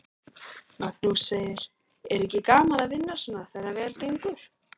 Magnús: Er ekki gaman að vinna svona þegar vel gengur?